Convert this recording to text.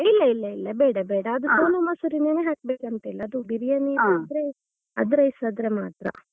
ಇಲ್ಲ ಇಲ್ಲ ಇಲ್ಲ ಬೇಡ ಬೇಡ ಅದು Sona Masuri ನೆನೆ ಹಾಕ್ಬೇಕು ಅಂತ ಇಲ್ಲ ಅದು ಬಿರಿಯಾನಿ ಆದ್ರೆ ಅದ್ rice ಆದ್ರೆ ಮಾತ್ರ.